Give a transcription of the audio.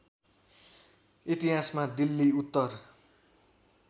इतिहासमा दिल्ली उत्तर